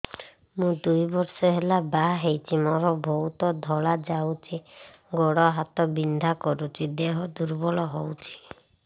ମୁ ଦୁଇ ବର୍ଷ ହେଲା ବାହା ହେଇଛି ମୋର ବହୁତ ଧଳା ଯାଉଛି ଗୋଡ଼ ହାତ ବିନ୍ଧା କରୁଛି ଦେହ ଦୁର୍ବଳ ହଉଛି